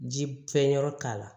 Ji fɛnyɔrɔ k'a la